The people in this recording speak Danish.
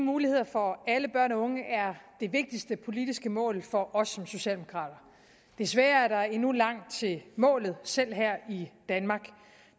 muligheder for alle børn og unge er det vigtigste politiske mål for os socialdemokrater desværre er der endnu langt til målet selv her i danmark